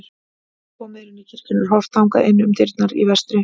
Þegar komið er inn í kirkjuna er horft þangað inn um dyrnar í vestri.